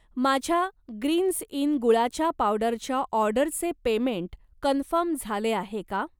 माझ्या Greenz Inn गुळाच्या पावडरच्या ऑर्डरचे पेमेंट कन्फर्म झाले आहे का?